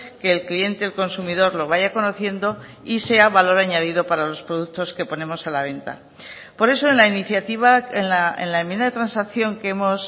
que el cliente el consumidor lo vaya conociendo y sea valor añadido para los productos que ponemos a la venta por eso en la iniciativa en la enmienda de transacción que hemos